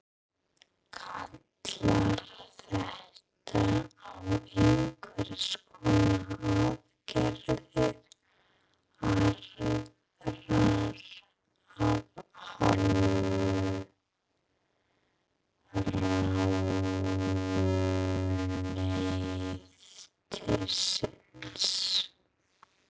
Kallar þetta á einhvers konar aðgerðir aðrar af hálfu ráðuneytisins?